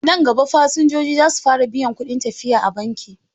Nan gaba, fasinjoji za su fara biyan kuɗin tafiya a banki.